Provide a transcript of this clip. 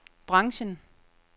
branchen